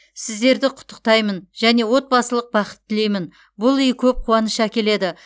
сіздерді құттықтаймын және отбасылық бақыт тілеймін бұл үй көп қуаныш әкеледі